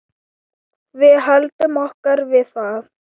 Við höldum okkur við það.